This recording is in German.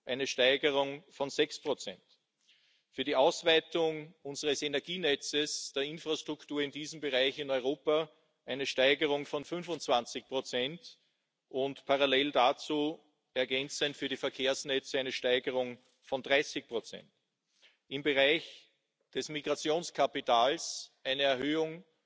eine Steigerung von sechs Prozent, für die Ausweitung unseres Energienetzes der Infrastruktur in diesem Bereich in Europa eine Steigerung von 25 Prozent und parallel dazu ergänzend für die Verkehrsnetze eine Steigerung von 30 Prozent, im Bereich des Migrationskapitals eine Erhöhung